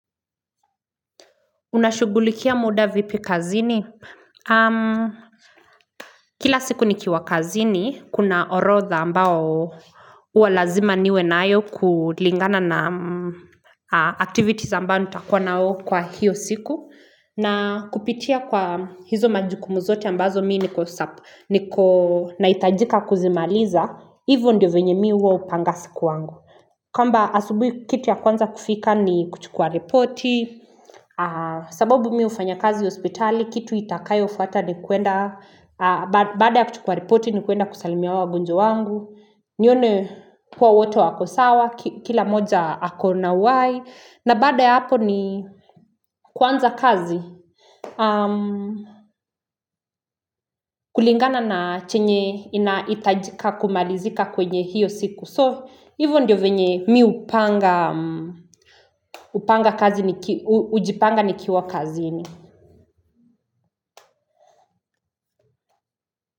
Unashughulikia muda vipi kazini? Kila siku nikiwa kazini, kuna orodha ambao huwa lazima niwe nayo kulingana na activities ambayo nitakuwa nayo kwa hiyo siku. Na kupitia kwa hizo majukumu zote ambazo mimi niko sharp, niko nahitajika kuzimaliza, hivyo ndio venye mimi huwa hupanga siku wangu. Kwamba asubuhi kitu ya kwanza kufika ni kuchukua ripoti, sababu mimi hufanya kazi hospitali, kitu itakayofuata ni kuenda, baada ya kuchukua ripoti ni kuenda kusalimia wagonjwa wangu, nione kuwa wote wako sawa, kila mmoja ako na uhai, na baada ya hapo ni kuanza kazi, kulingana na chenye inahitajika kumalizika kwenye hiyo siku. So, hivyo ndio venye mimi hupanga kazi, hujipanga nikiwa kazi.